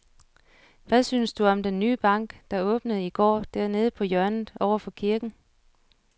Hvad synes du om den nye bank, der åbnede i går dernede på hjørnet over for kirken?